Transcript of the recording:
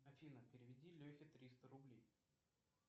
афина переведи лехе триста рублей